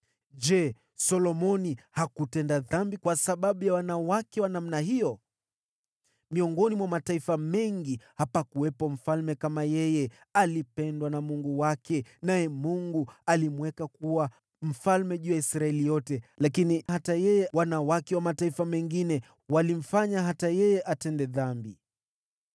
Je, Solomoni hakutenda dhambi kwa sababu ya wanawake wa namna hiyo? Miongoni mwa mataifa mengi hapakuwepo mfalme kama yeye. Alipendwa na Mungu wake. Naye Mungu alimweka kuwa mfalme juu ya Israeli yote, lakini hata yeye, wanawake wa mataifa mengine walimfanya atende dhambi.